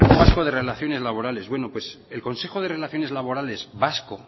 vasco de relaciones laborales bueno pues el consejo de relaciones laborales vasco